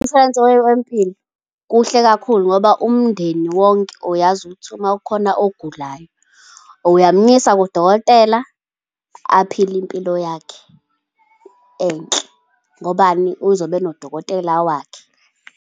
Umshwalense wempilo, kuhle kakhulu ngoba umndeni wonke uyazi ukuthi ma kukhona ogulayo, uyamyisa kudokotela, aphile impilo yakhe, enhle, ngobani? Uzobe enodokotela wakhe.